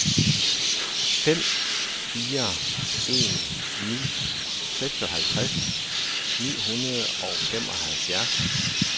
fem fire en ni seksoghalvtreds ni hundrede og femoghalvfjerds